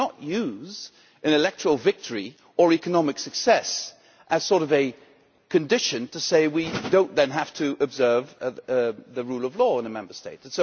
You cannot use an electoral victory or economic success as a sort of condition to say we do not then have to observe the rule of law in a Member State'.